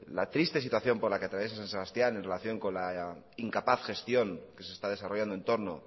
la triste situación por la que atraviesa san sebastián en relación con la incapaz gestión que se está desarrollando en torno